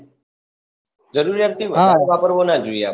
જરૂરિયાત થી વધાર વાપરવો ના જોઈએ આપડે